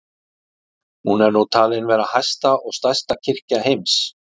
Hún er nú talin vera hæsta og stærsta kirkja heims.